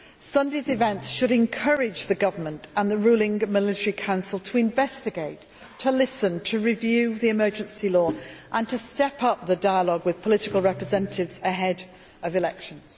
Sunday's events should encourage the government and the ruling military council to investigate, to listen, to review the emergency law and to step up the dialogue with political representatives ahead of elections.